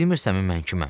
Bilmirəsən mən kiməm?